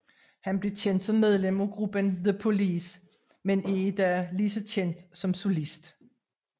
Han blev kendt som medlem af gruppen The Police men er i dag lige så kendt som solist